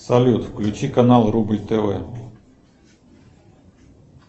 салют включи канал рубль тв